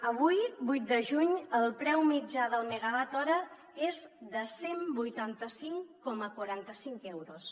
avui vuit de juny el preu mitjà del megawatt hora és de cent i vuitanta cinc coma quaranta cinc euros